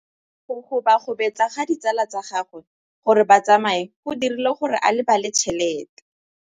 Go gobagobetsa ga ditsala tsa gagwe, gore ba tsamaye go dirile gore a lebale tšhelete.